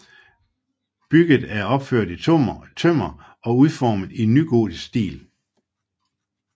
Bygget er opført i tømmer og udformet i nygotisk stil